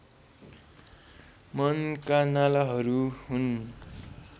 मनका नालाहरू हुन्